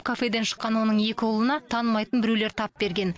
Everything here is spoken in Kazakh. кафеден шыққан оның екі ұлына танымайтын біреулер тап берген